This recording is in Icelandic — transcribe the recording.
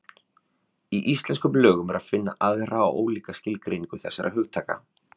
Í íslenskum lögum er að finna aðra og ólíka skilgreiningu þessara hugtaka.